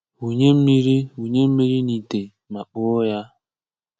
Wùnyè mmiri Wùnyè mmiri n’ìtè ma kpoo ya.